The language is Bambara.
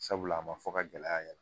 Sabula a ma fɔ ka gɛlɛya yɛrɛ